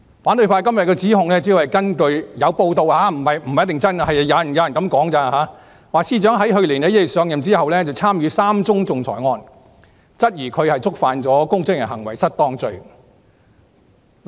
反對派今天的指控，主要是根據有報道——這不一定是真的，只是有人指出——指司長在去年1月上任後，參與3宗仲裁個案，質疑她觸犯了公職人員行為失當罪。